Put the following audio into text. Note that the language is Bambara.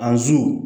A zu